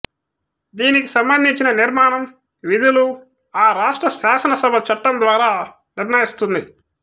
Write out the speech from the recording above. దీనికి సంబంధించిన నిర్మాణం విధులు ఆ రాష్ర్ట శాసనసభ చట్టం ద్వారా నిర్ణయిస్తుంది